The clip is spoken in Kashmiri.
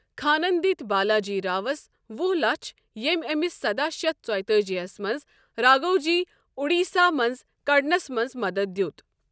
خانن دِتۍ بالاجی راوس وہ لَچھ ییٚمہِ أمِس سداہ شیتھ ژۄیتأجی ہس منٛز راگھوجی اڈیسہ منٛزٕ کڑنس منٛز مدتھ دیت۔